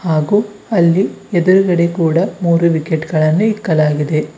ಹಾಗೂ ಅಲ್ಲಿ ಎದುರುಗಡೆ ಕೂಡ ಮೂರು ವಿಕೆಟ್ ಗಳನ್ನು ಇಕ್ಕಲಾಗಿದೆ.